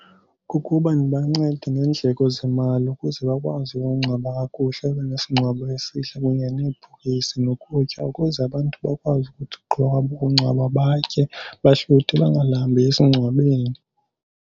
Kukuba ndibancede ngeendleko zemali ukuze bakwazi ukungcwaba kakuhle, babe nesingcwabo esihle kunye nebhokisi nokutya ukuze abantu bakwazi ukuthi ukugqiba kwabo ukungcwaba batye bahluthe bangalambi esingcwabeni.